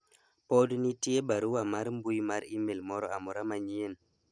pod nitie barua mar mbui mar email moro amora manyien